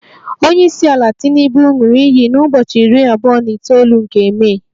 Onye isi ala tinubu ṅụrụ iyi na ubochi iri abuo na itoolu nke Mee